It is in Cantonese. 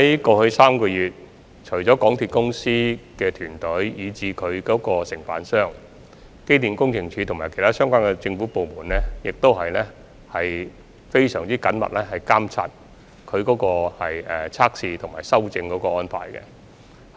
過去3個月，除港鐵公司團隊及有關承辦商外，機電署及其他相關政府部門也非常緊密地監察有關測試及修正安排。